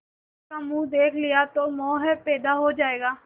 इसका मुंह देख लिया तो मोह पैदा हो जाएगा